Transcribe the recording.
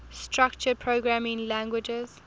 structured programming languages